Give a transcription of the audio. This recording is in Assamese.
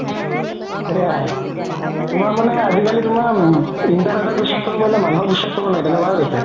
সেয়াই তুমাৰ মানে আজিকালি তুমাৰ internet ক বিশ্বাস কৰিব পাৰিলে মানুহক বিশ্বাস কৰিব নোৱাৰি তেনেকুৱা হৈ গৈছে